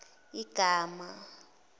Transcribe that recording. igama